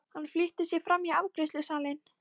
Hann flýtti sér fram í afgreiðslusalinn.